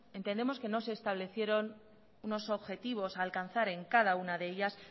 entendemos que no se establecieron unos objetivos a alcanzar en cada una de ellas